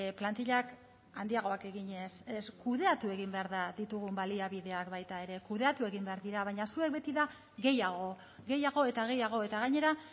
plantillak handiagoak eginez ez kudeatu egin behar da ditugun baliabideak baita ere kudeatu egin behar dira baina zuek beti da gehiago gehiago eta gehiago eta gainera